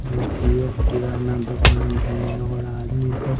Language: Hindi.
जोकि एक किराना दोकान है ओड आदमी सब--